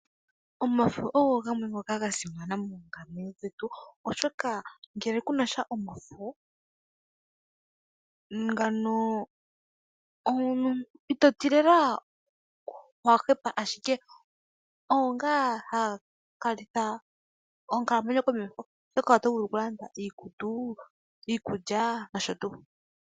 Omafo ogo gamwe ngoka ga simana mokukalamwenyo kwetu, oshoka ngele ku na sha omafo ito ti lela owa hepa, ashike ogo ngaa haga falitha onkalamwenyo komeho oshoka oto vulu lela okulanda iikutu, iikulya nosho tuu.